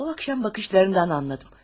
O axşam baxışlarından anladım.